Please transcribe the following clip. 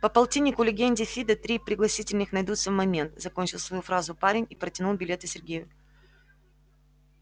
по полтиннику легенде фидо три пригласительных найдутся в момент закончил свою фразу парень и протянул билеты сергею